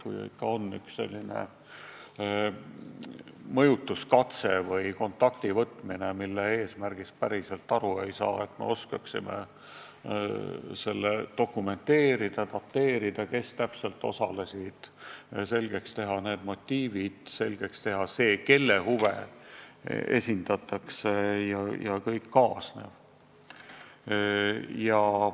Kui ikka on tehtud üks mõjutuskatse või kontakti võtmine, mille eesmärgist päriselt aru ei saa, siis tuleb osata see dokumenteerida ja dateerida, panna kirja, kes täpselt osalesid, ning selgeks teha motiivid, see, kelle huve teenitakse, jms.